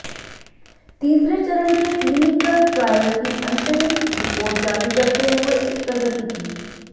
तीसरे चरण के क्लीनिकल ट्रायल की अंतरिम रिपोर्ट जारी करते हुए इस प्रगति की